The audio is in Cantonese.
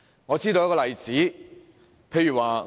我列舉一些例子說明。